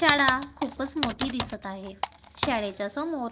शाळा खूपच मोठी दिसत आहे शाळेच्या समोर--